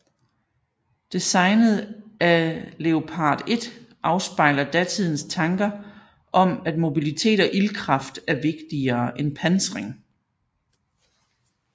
Designet af Leopard 1 afspejler datidens tanker om at mobilitet og ildkraft er vigtigere end pansring